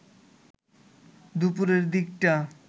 দুপুরের দিকটা